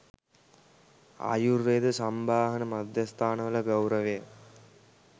ආයුර්වේද සම්බාහන මධ්‍යස්ථානවල ගෞරවය